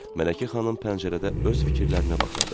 Mələkə xanım pəncərədə öz fikirlərinə baxırdı.